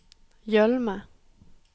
Gjølme